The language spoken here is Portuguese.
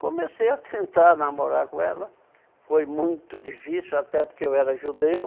Comecei a tentar namorar com ela, foi muito difícil, até porque eu era judeu.